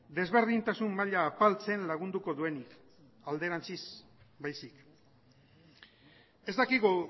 desberdintasun maila apaltzen lagunduko duenik alderantziz baizik ez dakigu